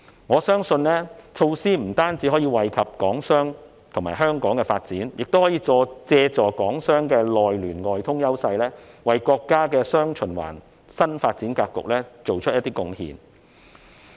我相信措施不僅可以惠及港商和香港的發展，港商的內聯外通優勢，亦可以為國家的"雙循環"新發展格局作出貢獻。